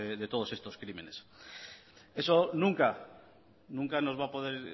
de todos estos crímenes eso nunca nos va a poder